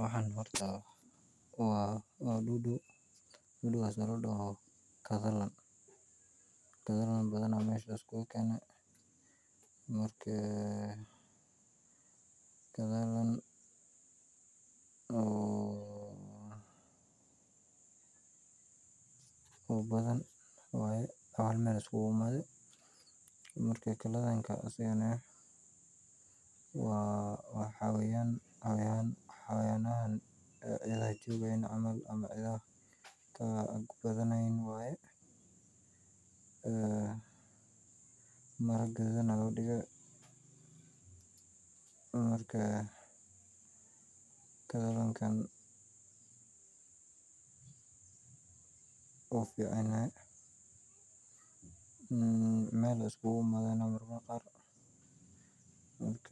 Waxaan horta waad duudu duudukas ola daho gadalan, galadan baadana mashan laas kugu gani, marka aa galadan oo baadan waya masha iskugu imada, marka galadanka asag waa waxaa wayan hawayan hawaynada cida haa jogayin camal wax ku dimaynin waya, marka galadankan, uficanyahay mal ay iskugu imada mar qar ok